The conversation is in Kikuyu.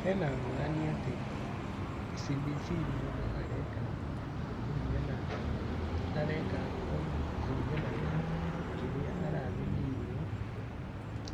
He na ngũrani atĩ CBC mũndũ areka kothi kũringana na kĩrĩa arathimĩirwo